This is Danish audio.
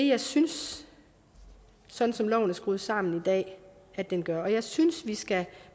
jeg synes sådan som loven er skruet sammen i dag at den gør og jeg synes at vi skal